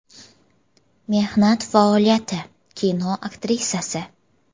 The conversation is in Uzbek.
Mehnat faoliyati: Kino aktrisasi.